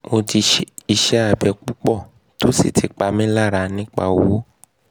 mo ti ṣe iṣẹ abẹ pupọ to si ti pa mi lara nipa owo